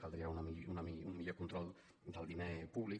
caldria un millor control del diner públic